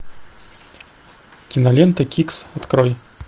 кинолента кикс открой